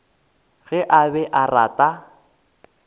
ge a be a rata